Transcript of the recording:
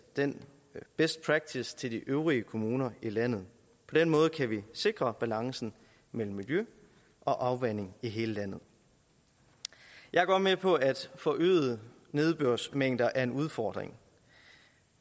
den best practice til de øvrige kommuner i landet på den måde kan vi sikre balancen mellem miljø og afvanding i hele landet jeg er godt med på at forøgede nedbørsmængder er en udfordring